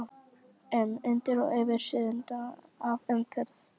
um, undir og yfir, suðandi af umferð.